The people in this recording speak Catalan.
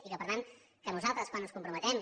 i per tant que nosaltres quan ens comprometem